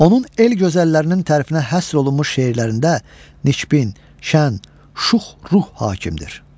Onun el gözəllərinin tərifinə həsr olunmuş şeirlərində Nikbin, Şən, Şux ruh hakimdir.